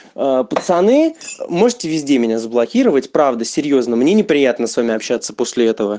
пацаны можете везде меня заблокировать правда серьёзно мне не приятно с вами общаться после этого